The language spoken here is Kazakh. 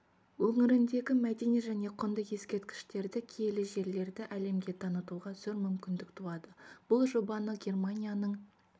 өңіріндегі мәдени және құнды ескерткіштерді киелі жерлерді әлемге танытуға зор мүмкіндік туады бұл жобаны германияның